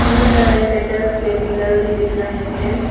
बहोत सारे मेटल्स के पिलर भी दिख रहे हैं।